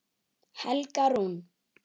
Helga Rún.